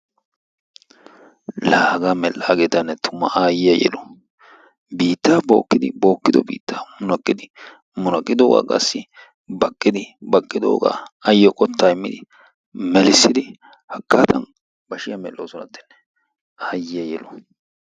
laa hagaa mel"aagetanne tumma ayiyaa yelu! biittaa bookkidi bookkido biitta munaqqidi munaqqidoogaa qassi baaqqidi baqqidoogaa ayyoo qottaa immidi melissidi haggaadan bashiyaa mel'oosonatene ayyiyaa yelu!